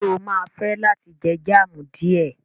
Ṣé o máa fẹ́ láti jẹ jam díẹ̀?